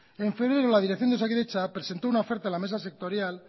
en febrero la dirección de osakidatza presentó una oferta en la mesa sectorial